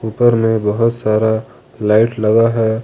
ऊपर में बहुत सारा लाइट लगा है। ।